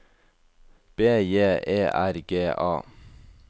B J E R G A